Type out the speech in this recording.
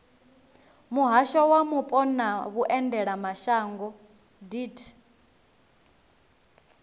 muhasho wa mupo na vhuendelamashango deat